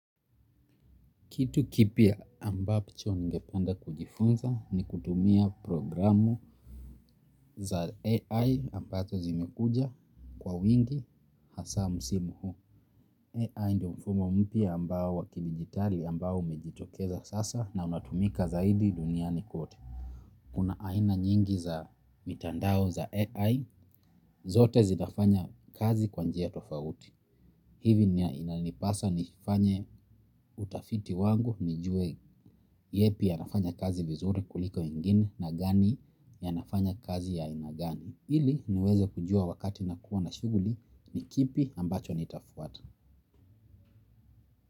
Kitu kipya ambacho ningependa kujifunza ni kutumia programu za AI ambazo zimekuja kwa wingi hasa msimu huu. AI ndiyo mfumo mpya ambao wa kidijitali ambao umejitokeza sasa na unatumika zaidi duniani kote. Kuna aina nyingi za mitandao za AI. Zote zinafanya kazi kwa njia tofauti. Hivi inanipasa nifanye utafiti wangu, nijue yapi yanafanya kazi vizuri kuliko nyingine na gani yanafanya kazi ya aina gani ili niweze kujua wakati nikiwa na shughuli ni kipi ambacho nitafuata.